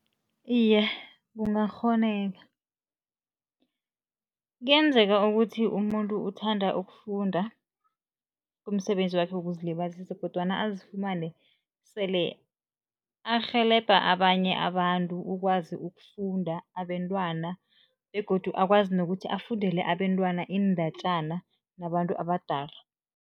Iye, kungakghoneka. Kuyenzeka ukuthi umuntu uthanda ukufunda, kumsebenzi wakhe wokuzilibazisa kodwana azifumane sele arhelebha abanye abantu ukwazi ukufunda, abentwana begodu akwazi nokuthi afundele abentwana iindatjana nabantu abadala.